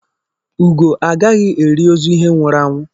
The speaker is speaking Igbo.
Ugo agaghị eri ozu ihe nwụrụ anwụ